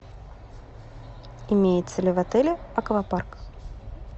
имеется ли в отеле аквапарк